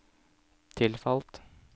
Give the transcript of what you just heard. tilfalt